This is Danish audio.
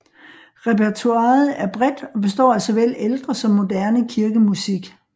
Repertoiret er bredt og består af såvel ældre som moderne kirkemusik